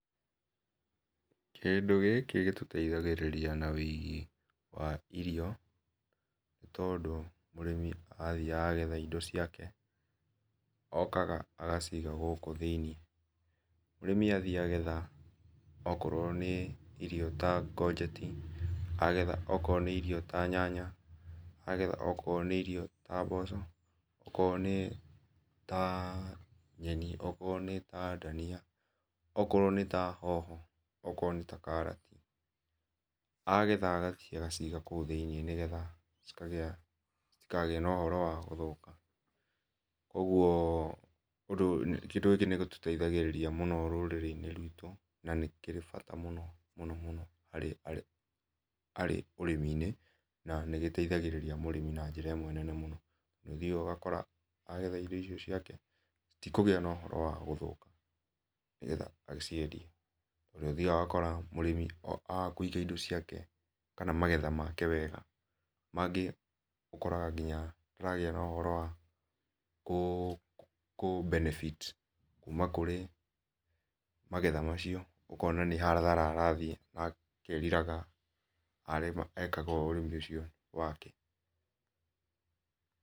Kĩndũ gĩkĩ gĩtũteĩthagĩrĩrĩa na weĩgĩ wa irio nĩ tondũ mũrĩmi athĩaga etha ĩndo ciake okaga agaciĩga gũkũ thĩ inĩ. Mũrĩmi athĩe agetha okorwo nĩ irio ta codget agetha okoro nĩ irio ta nyanya agetha okoro nĩ irio ta mboco okoro nĩ ta nyenĩ okoro nĩ ta danĩa okoro nĩ ta hoho okoro nĩ ta karatĩ, agetha agathĩe agaciiga koũ thĩ inĩ nĩgetha citikagĩe na ũhoro wa gũthũka, kwogwo kĩndũ gĩkĩ nĩ gĩtũteithagĩrĩra mũno bũrũrĩ inĩ rwĩto na nĩ kĩrĩ bata mũno mũno harĩ ũrĩmĩ na nĩgĩteithaigĩrĩra mũrĩmi na jĩra ĩmwe nene mũno, nĩũthiaga ũgakora agetha indo icio ciake citigũkorwo na ũhoro wa gũthũka nĩgetha agĩciendĩe na nĩ ũthĩaga ũgakora mũrĩmĩ aga kũĩga ĩndo ciake, kana magetha make wega mangĩ ũkora ngĩnya nĩaragĩa na ũhoro wa kũ benefit kũma kũrĩ magetha macio ũkona nĩ hathara arathĩe na akerira ekaga ũndũ ũcio wakĩ.